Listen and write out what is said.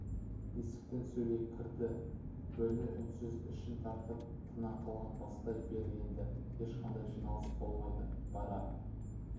есіктен сөйлей кірді бөлме үнсіз ішін тартып тына қалған бастай бер енді ешқандай жиналыс болмайды бара